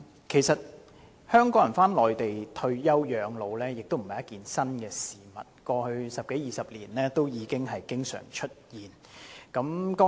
其實，香港人返回內地退休養老並非新鮮事，過去十多二十年已經常出現。